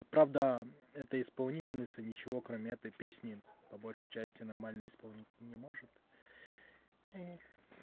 правда это исполнительница ничего кроме этой песни по большей части нормально исполнить не может